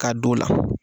K'a don o la